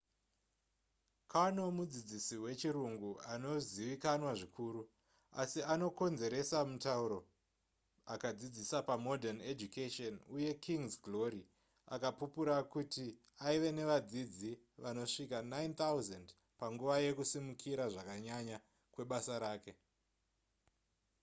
karno mudzidzisi wechirungu anozivikanzwa zvikuru asi anokonzeresa mutauro akadzidzisa pamodern education uye king's glory akapupura kuti aive nevadzidzi vanosvika 9,000 panguva yakusimukira zvakanyanya kwebasa rake